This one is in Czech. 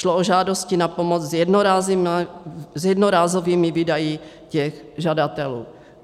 Šlo o žádosti na pomoc s jednorázovými výdaji těch žadatelů.